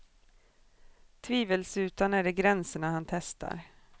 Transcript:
Tvivelsutan är det gränserna han testar.